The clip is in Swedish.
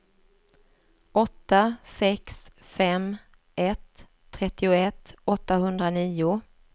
åtta sex fem ett trettioett åttahundranio